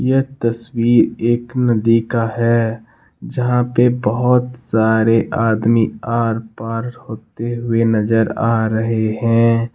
यह तस्वीर एक नदी का है जहां पे बहोत सारे आदमी आर पार होते हुए नजर आ रहे हैं।